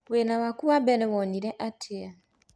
Wĩra waku wa mbere wonire atĩa?